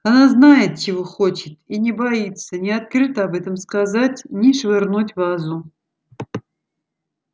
она знает чего хочет и не боится ни открыто об этом сказать ни швырнуть вазу